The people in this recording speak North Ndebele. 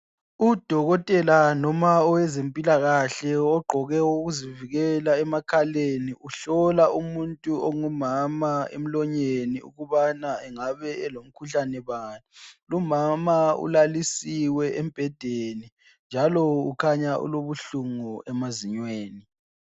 Udokotela noma owezempilakahke ogqoke okokuzivikela emakhaleni uhlola umuntu ongumama emlonyeni ukubana engabe elomkhuhlane bani lumama ulalisiwe embhedeni njalo kukhanya ulobuhlungu emazinyweni.